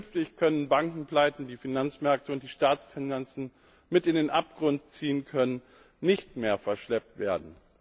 Künftig können Bankenpleiten, die Finanzmärkte und Staatsfinanzen mit in den Abgrund ziehen können, nicht mehr verschleppt werden.